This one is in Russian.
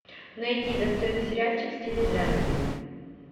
найди достойный сериальчик в стиле драмеди